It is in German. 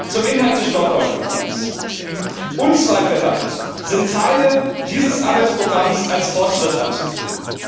Zum Inhalt des Stockholm Programms Unzweifelhaft sind Teile dieses Arbeitsprogramms als Fortschritt anzusehen.